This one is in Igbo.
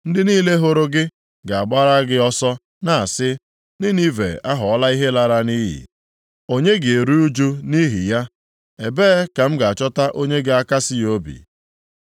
Ndị niile hụrụ gị ga-agbara gị ọsọ na-asị, ‘Ninive aghọọla ihe lara nʼiyi, onye ga-eru ụjụ nʼihi ya?’ Ebee ka m ga-achọta onye ga-akasị gị obi?”